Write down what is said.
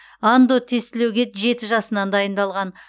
андо тестілеуге жеті жасынан дайындалған